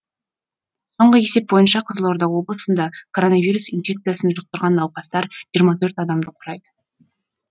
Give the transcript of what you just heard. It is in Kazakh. соңғы есеп бойынша қызылорда облысында коронавирус инфекциясын жұқтырған науқастар жиырма төрт адамды құрайды